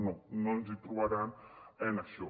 no no ens hi trobaran en això